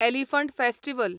elephant festival